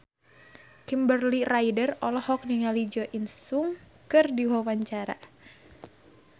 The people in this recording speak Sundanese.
Kimberly Ryder olohok ningali Jo In Sung keur diwawancara